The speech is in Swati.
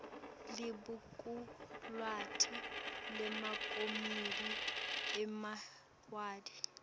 libhukulwati lemakomidi emawadi